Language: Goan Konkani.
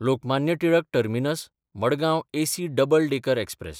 Lokmanya Tilak टर्मिनस–मडगांव AC double decker express